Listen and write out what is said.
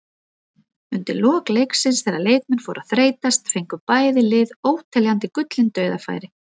Undir lok leiksins þegar leikmenn fóru að þreytast fengu bæði lið óteljandi gullin dauðafæri.